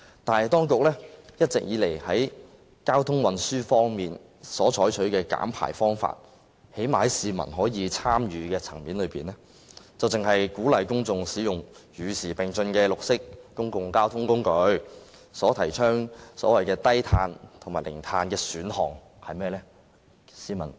但是，當局在交通運輸方面一直採取的減排方法——最少在市民可以參與的層面上——只是鼓勵公眾使用與時並進的綠色公共交通工具，提倡所謂低碳和零碳的選項，是甚麼呢？